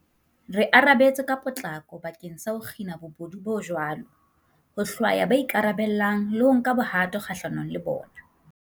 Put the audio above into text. Re arabetse ka potlako bakeng sa ho kgina bobodu bo jwalo, ho hlwaya ba ikarabellang le ho nka bohato kgahlanong le bona.